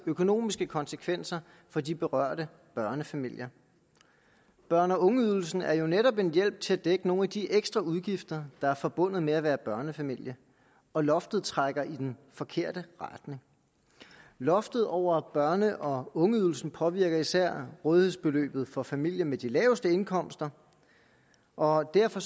økonomiske konsekvenser for de berørte børnefamilier børne og ungeydelsen er jo netop en hjælp til at dække nogle af de ekstraudgifter der er forbundet med at være børnefamilie og loftet trækker i den forkerte retning loftet over børne og ungeydelsen påvirker især rådighedsbeløbet for familier med de laveste indkomster og derfor